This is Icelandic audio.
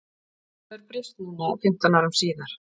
En hvað hefur breyst núna fimmtán árum síðar?